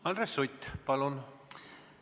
Andres Sutt, palun!